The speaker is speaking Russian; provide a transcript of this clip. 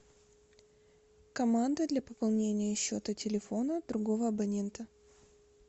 команда для пополнения счета телефона другого абонента